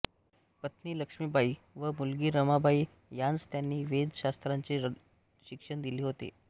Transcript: पत्नी लक्ष्मीबाई व मुलगी रमाबाई यांस त्यांनी वेद शास्त्रांचे शिक्षण दिले होते